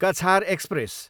Cachar express